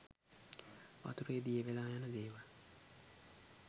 වතුරේ දිය වෙලා යන දේවල්